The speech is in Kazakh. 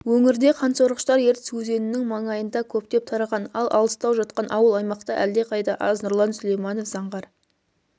өңірде қансорғыштар ертіс өзенінің маңайында көптеп тараған ал алыстау жатқан ауыл-аймақта әлдеқайда аз нұрлан сүлейманов заңғар